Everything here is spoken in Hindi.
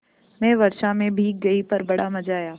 मैं वर्षा से भीग गई पर बड़ा मज़ा आया